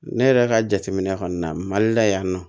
Ne yɛrɛ ka jateminɛ kɔni na mali la yan nɔ